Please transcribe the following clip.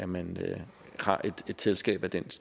man har et selskab af den